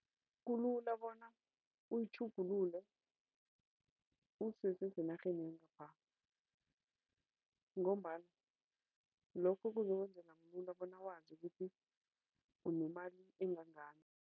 Kulula bona uyitjhugulule usesesenarheni yangapha ngombana lokho kuzokwenzela bona wazi ukuthi unemali engangani.